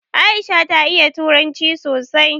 Aisha ta iya turanci sosai